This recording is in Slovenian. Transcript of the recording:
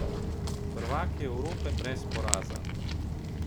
Prvaki Evrope, brez poraza ...